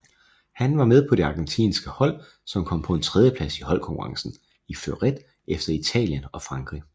Han var med på det argentinske hold som kom på en tredjeplads i holdkonkurrencen i fleuret efter Italien og Frankrig